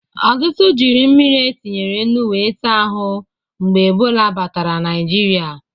Ọtụtụ jiri mmiri e tinyere nnụ we za ahụ mgbe Ebọla batara Naijiria